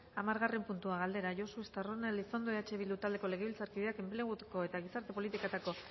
hamargarren puntua galdera josu estarrona elizondo eh bildu taldeko legebiltzarkideak enpleguko eta gizarte politiketako